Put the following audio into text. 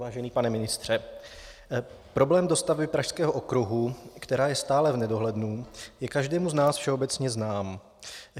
Vážený pane ministře, problém dostavby Pražského okruhu, která je stále v nedohlednu, je každému z nás všeobecně znám.